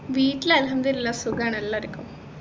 വീട്ടിൽ അല്ഹമ്ദുലില്ല സുഖാണ് എല്ലാർക്കും